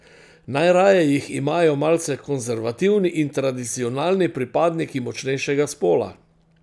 Najraje jih imajo malce konservativni in tradicionalni pripadniki močnejšega spola.